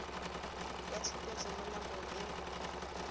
ya tshupetso mo nakong eo